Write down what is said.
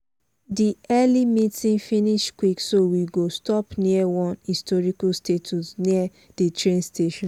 di early meeting finish quick so we go stop near one historic statue near the train station.